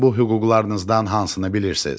Siz bu hüquqlarınızdan hansını bilirsiz?